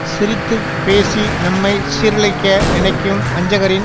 சிரித்து பேசி நம்மை சீரழிக்க நினைக்கும் வஞ்சகரின்